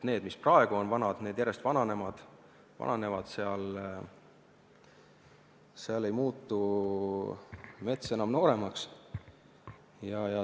Need, mis praegu on vanad, need järjest vananevad, seal ei muutu mets enam nooremaks.